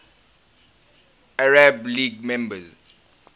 arab league member